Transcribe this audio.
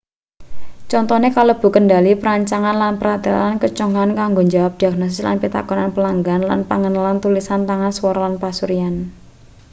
contone kalebu kendhali perancangan lan pratelan keconggah kanggo njawab diagnosis lan pitakonan pelanggan lan pangenalan tulisan tangan swara lan pasuryan